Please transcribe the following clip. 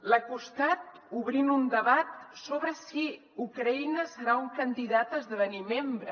l’ha acostat obrint un debat sobre si ucraïna serà un candidat a esdevenir membre